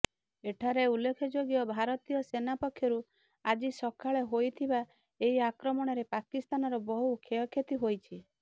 ଏଠାରେ ଉଲ୍ଲେଖଯୋଗ୍ୟ ଭାରତୀୟ ସେନା ପକ୍ଷରୁ ଆଜି ସକାଳେ ହୋଇଥିବା ଏହି ଆକ୍ରମଣରେ ପାକିସ୍ତାନର ବହୁ କ୍ଷୟକ୍ଷତି ହୋଇଛି